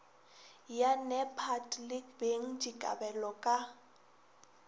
ya nepad le bengdikabelo ka